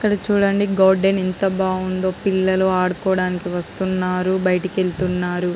ఇక్కడ చుడండి గార్డెన్ ఎంత బాగుందో పిల్లలు ఆదుకోవడానికి వస్తున్నారు బయటకి వెళ్తున్నారు.